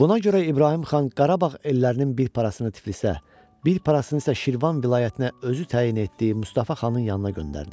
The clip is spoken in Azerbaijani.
Buna görə İbrahim xan Qarabağ ellərinin bir parasını Tiflisə, bir parasını isə Şirvan vilayətinə özü təyin etdiyi Mustafa xanın yanına göndərdi.